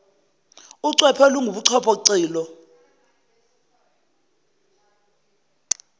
ucwephe olunguchopho cilo